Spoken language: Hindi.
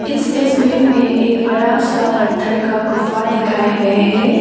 इस तस्वीर में एक बड़ा सा पत्थर का गुफा दिखाये गए है।